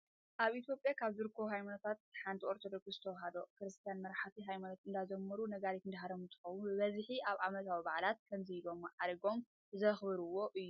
ኣብ ኢትዮጵያ ካብ ዝርከቡ ሃይማኖታት ሓንቲ ኦርቶዶክስ ተዋህዶ ክርስትያን መራሕቲ ሃይማኖት እንዳዘመሩን ነጋሪት እንዳሃረሙ እንትኮኑ፣ ብበዚሒ ኣብ ዓመታዊ ባዓላት ከምዚ ኢሎም ማዕሪጎም ዘክብሩዎ እዩ።